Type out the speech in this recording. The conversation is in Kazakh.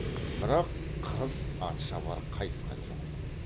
бірақ қырыс атшабар қайысқан жоқ